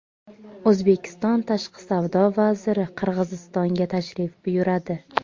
O‘zbekiston Tashqi savdo vaziri Qirg‘izistonga tashrif buyuradi.